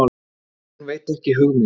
Hún veit hug minn.